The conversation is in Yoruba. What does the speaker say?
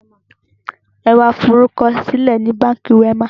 Ẹ wá fi orúkọ sílẹ̀ ni Báńkì Wema!